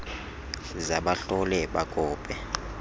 za bahlole bakope